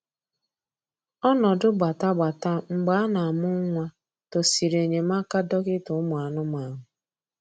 Ọnọdụ gbatagbata mgbe a na-amụ nwa tosiri enyemaka dọkịta ụmụ anụmanụ